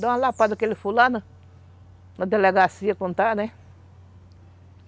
Dá uma lapada naquele fulano, na delegacia quando está, né?